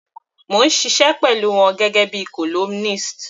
Mò ń ṣiṣẹ́ pẹ̀lú wọn gẹ́gẹ́ bíi columnist.